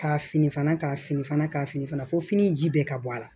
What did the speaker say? Ka fini fana ka fini fana ka fini fana fɔ fini ji bɛɛ ka bɔ a la